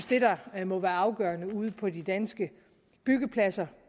det der må være afgørende ude på de danske byggepladser